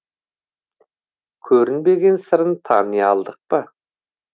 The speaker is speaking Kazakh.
көрінбеген сырын тани алдық па